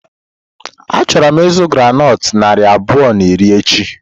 Achọrọ m ịzụ groundnut narị abụọ na iri echi.